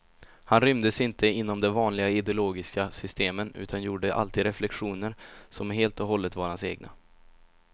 Han rymdes inte inom de vanliga ideologiska systemen, utan gjorde alltid reflexioner som helt och hållet var hans egna.